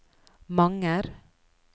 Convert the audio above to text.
Manger